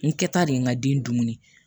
N kɛta de ye n ka den dumuni